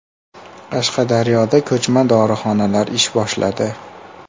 Qashqadaryoda ko‘chma dorixonalar ish boshladi.